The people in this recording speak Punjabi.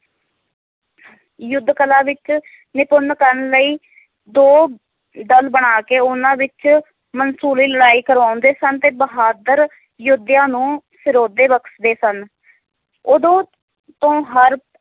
ਯੁੱਧ ਕਲਾ ਵਿਚ ਨਿਪੁੰਨ ਕਰਨ ਲਈ ਦੋ ਦੱਲ ਬਣਾ ਕੇ ਉਹਨਾਂ ਵਿਚ ਮਨਸੂਲੀ ਲੜਾਈ ਕਰਾਉਂਦੇ ਸਨ ਤੇ ਬਹਾਦਰ ਯੋਧਿਆਂ ਨੂੰ ਸ਼ਰੋਧੇ ਬਖਸ਼ਦੇ ਸਨ ਓਦੋ ਤੋਂ ਹਰ